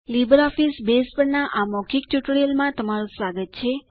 LibreOffice base પરના આ મૌખિક ટ્યુટોરીયલમાં તમારું સ્વાગત છે